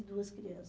e duas crianças.